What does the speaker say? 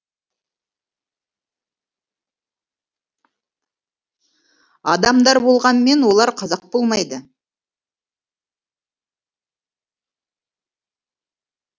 адамдар болғанмен олар қазақ болмайды